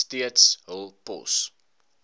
steeds hul pos